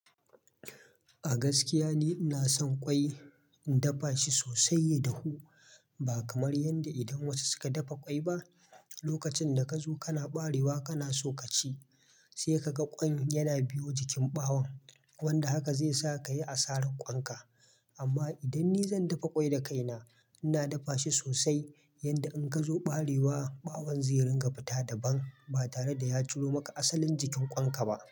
A gaskiya ni ina son ƙwai, na dafa shi sosai ya hu. Ba kamar yanda idan wasu suka dafa ƙwai ba, lokacin da ka zo kana ɓarewa kana so ka ci sai ka ga ƙwan yana biyo jikin ɓawon. Wanda haka zai sa ka yi asarar ƙwan ka. Amma idan ni zan dafa ƙwai da kaina, ina dafa shi sosai yanda in gazo ɓarewa, ɓawon zai ringa fita daban ba tare da ya ciro maka asalin jikin ƙwan ka ba.